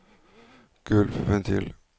gulvventil